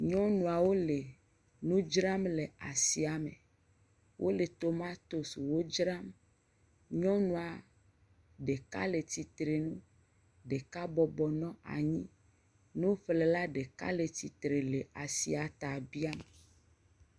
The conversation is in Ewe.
Nyɔnuawo le nu dzram le asia me. Wole tomatosiwo dzram. Nyɔnu ɖeka le tsitre nu, ɖeka bɔbɔ nɔ anyi. Nuƒlela ɖeka le tsi tre le asi ta biam.